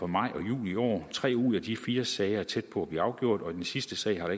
maj og juni i år tre ud af de fire sager er tæt på at blive afgjort og i den sidste sag har